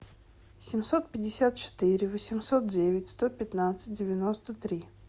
семьсот пятьдесят четыре восемьсот девять сто пятнадцать девяносто три